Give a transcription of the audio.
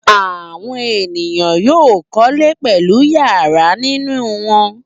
Àwọn ènìyàn yóò kọ́lé pẹ̀lú ìyàrá nínú wọn.